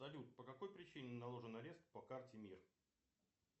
салют по какой причине наложен арест по карте мир